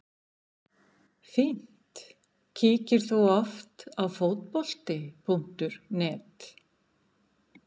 fínt Kíkir þú oft á Fótbolti.net?